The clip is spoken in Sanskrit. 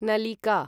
नलिका